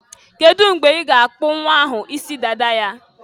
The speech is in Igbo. Kedu mgbe a ga-akpụ nnwa ahụ isi dada ya?